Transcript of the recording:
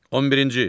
On birinci.